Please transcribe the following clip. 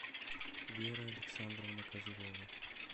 вера александровна козлова